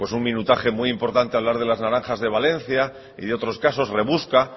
un minutaje muy importante a hablar de las naranjas de valencia y de otros casos rebusca